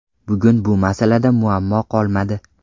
Bugun bu masalada muammo qolmadi.